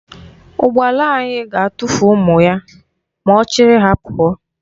Ụgbala anyị ga-atụfu ụmụ ya ma ọ chịrị ha pụọ.